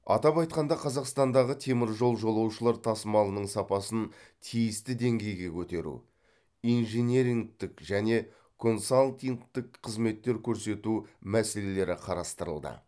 атап айтқанда қазақстандағы теміржол жолаушылар тасымалының сапасын тиісті деңгейге көтеру инжинирингтік және консалтингтік қызметтер көрсету мәселелері қарастырылды